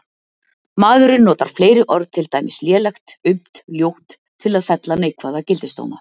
Maðurinn notar fleiri orð, til dæmis lélegt, aumt, ljótt, til að fella neikvæða gildisdóma.